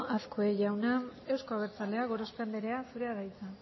azkue jauna euzko abertzaleak gorospe andrea zurea da hitza